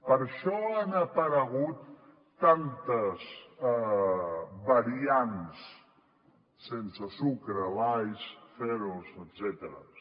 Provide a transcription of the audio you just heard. per això han aparegut tantes variants sense sucre lights zeros etcètera